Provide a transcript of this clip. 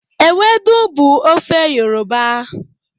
Ewedu bụ ofe Yoruba